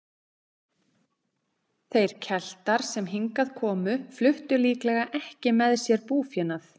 Þeir Keltar sem hingað komu fluttu líklega ekki með sér búfénað.